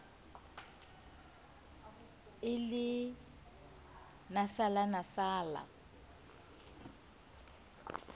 e le nasala nasala o